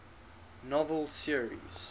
novel series